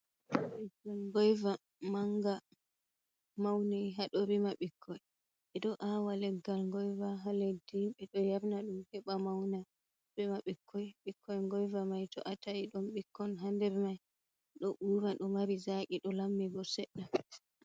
Leggal ngoiva manga, mauni hado rima ɓikkoi. Be do awa leggal goiva ha leddi, be do yarna dum heba mauna rima ɓikkoi. Bikkoi goiva mai to atai ɗo rima bikkon ha der mai. Ɗo ura do mari zaqi, do lammibo sedda.